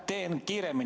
Teen kiiresti.